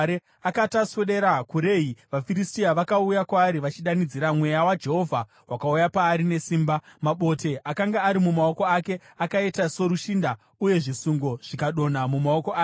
Akati aswedera kuRehi, vaFiristia vakauya kwaari vachidanidzira. Mweya waJehovha wakauya paari nesimba. Mabote akanga ari mumaoko ake akaita sorushinda, uye zvisungo zvikadonha mumaoko ake.